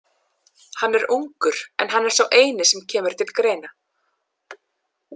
Hann er ungur en hann er sá eini sem kemur til greina.